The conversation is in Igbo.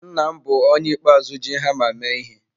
Nna m bụ onye ikpeazụ ji hama mee ihe.